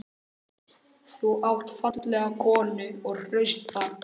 Þú átt fallega konu og hraust börn.